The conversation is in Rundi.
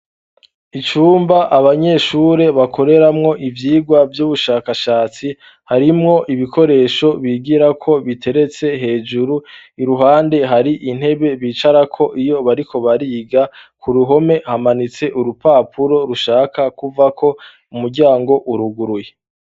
Icumba abanyeshure bakoreramwo ivyigwa vy'ubushakashatsi, harimwo ibikoresho bigirako biteretse hejuru. Iruhande hari intebe bicarako iyo bariko bariga, ku ruhome hamanitse urupapuro rushaka kuvako umuryango uruguruye.